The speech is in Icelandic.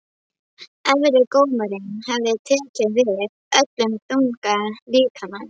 Arisa, hvernig er dagskráin í dag?